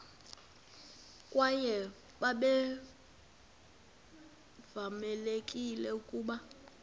kwaye babevamelekile ukuba